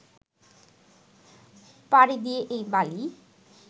পাড়ি দিয়ে এই বালি